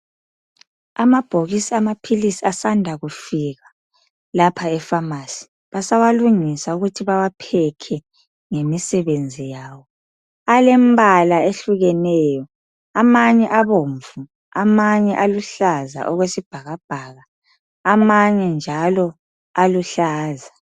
Amabhokisi amapilisi asanda kufika lapha efamasi. Basawalungisa ukuthi bawapekhe ngemisebenzi yawo. Alembala ehlukeneyo. Amanye abobvu amanye aluhlaza okwesibhakabhaka. Amanye njalo aluhlaza.